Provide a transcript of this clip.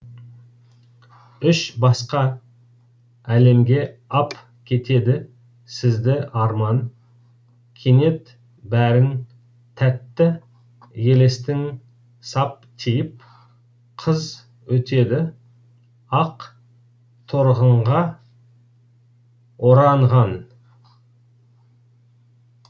үш басқа әлемге ап кетеді сізді арман кенет бәрін тәтті елестің сап тиып қыз өтеді ақ торғынға оранған